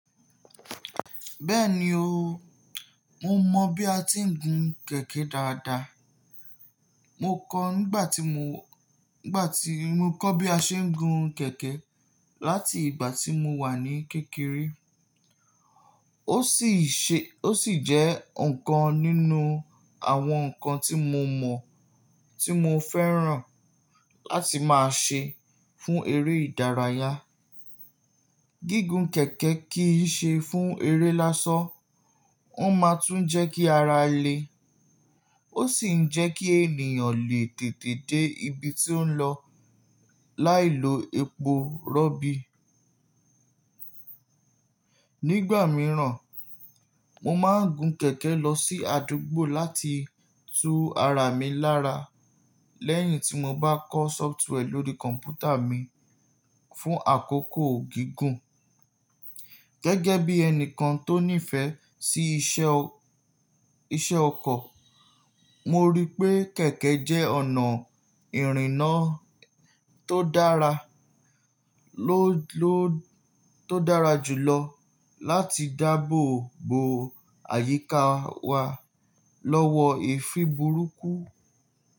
Bẹ́ẹ̀ni o, mo mọ bí a ti ń gun kẹ̀kẹ́ dáadáa. Mo kọ nígbà tí mo, nígbà tí mo kọ́ bí a ṣe ń gun kẹ̀kẹ́ láti ìgbà tí mo wà ní kékeré. Ó sì ṣe, ó sì jẹ́ nǹkan nínú àwọn nǹkan tí mo mọ̀ tí mo fẹ́ràn láti máa ṣe fún eré ìdárayá. Gígùn kẹ̀kẹ́ kì í ṣe fún eré lásan. Ó máa tún jẹ́ kí ara le, ó sì ń jẹ́ kí ènìyàn lè tètè dé ibi tí ó ń lọ láì lo epo rọ̀bì. Nígbà mìíràn, mo máa ń gun kẹ̀kẹ́ lọ sí àdúgbò láti tu ara mi lára lẹ́yìn tí mo bá kọ́ software lórí kọ̀m̀pútà mi fún àkókò gígùn. Gẹ́gẹ́ bí ẹni kan tó nífẹ̀ẹ́ sí iṣẹ́ ọkọ̀, mo rí pé kẹ̀kẹ́ jẹ́ ọ̀nà ìrìnnà tó dára, ló ló tó dára jù lọ láti dáàbò bo àyíká wa lọ́wọ́ èéfín burúkú.